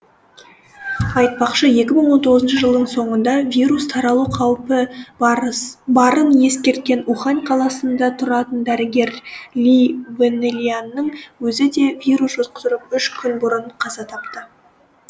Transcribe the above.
айтпақшы екі мың он тоғызыншы жылдың соңында вирус таралу қаупі барын ескерткен ухань қаласында тұратын дәрігер ли вэньляннің өзі де вирус жұқтырып үш күн бұрын қаза тапты